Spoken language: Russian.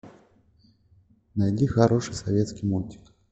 найди хороший советский мультик